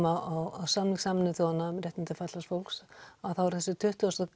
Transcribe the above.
á samning Sameinuðu þjóðanna um réttindi fatlaðs fólks þá er það þessi tuttugu